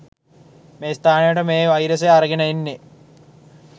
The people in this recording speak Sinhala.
මේ ස්ථානයට මේ වයිරසය අරගෙන එන්නේ.